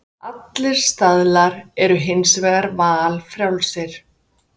Allir staðlar eru hins vegar valfrjálsir.